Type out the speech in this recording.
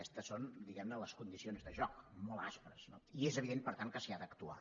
aquestes són diguem ne les condicions de joc molt aspres no i és evident per tant que s’hi ha d’actuar